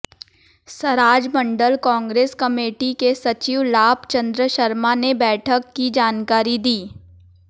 Seraj Mandal Congress committee के सचिव लाभ चंद शर्मा ने बैठक की जानकारी दी